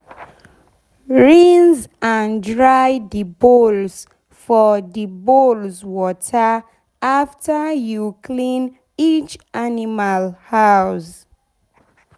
rinse and dry d bowls for d bowls for water afta u clean each animal house